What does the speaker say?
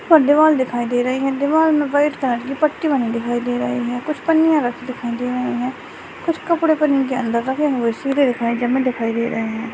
एक दीवाल दिखाई दे रहा है दीवाल में वाइट कलर की पट्टी बनाई देखे दे रहा है कुछ पन्नियां राखी दिखाई दे रहे है कुछ कपडे पन्नी के नादर रखे हुए दिखाई दे रहे है ।